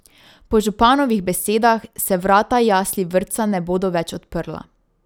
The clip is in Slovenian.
Po županovih besedah se vrata jasli vrtca ne bodo več odprla.